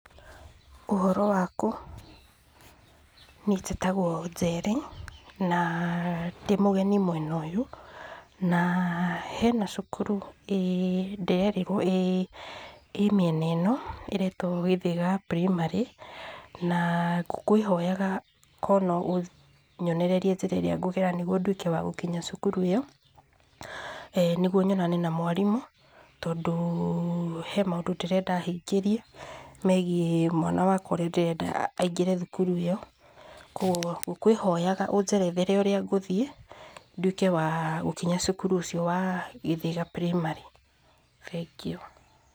Ũhoro waku? Niĩ njĩtagwo Njeri na ndĩmũgeni mwena ũyũ na hena cukuru ĩĩ ndĩrerĩrwo ĩĩ ĩmĩena ĩno ĩretwo Gĩthĩga Primary na ngũkũĩhoyaga korwo no ũnyonererie njĩra ĩrĩa ngũgera nĩgũo ndũĩke wa gũkinya cukuru ĩyo nĩgũo nyonane na mwarimũ tondũ he maũndũ ndĩrenda ahingĩrĩe megie mwana wakwa ũrĩa ndĩrenda aingĩre thukuru ĩyo kogũo ngũkwĩhoyaga ũnjerethere ũrĩa ngũthiĩ ndũĩke wa gũkinya cukuru ũcio wa Gĩthĩga prĩmary thengio.